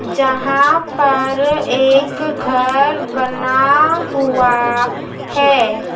जहां पर एक घर बना हुआ है।